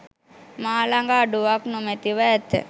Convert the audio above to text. මා ළඟ අඩුවක් නොමැතිව ඇත.